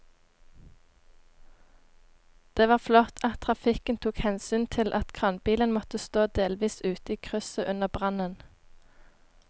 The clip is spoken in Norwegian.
Det var flott at trafikken tok hensyn til at kranbilen måtte stå delvis ute i krysset under brannen.